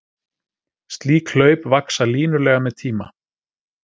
Slík hlaup vaxa línulega með tíma.